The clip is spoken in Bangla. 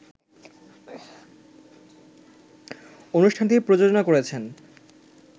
অনুষ্ঠানটি প্রযোজনা করেছেন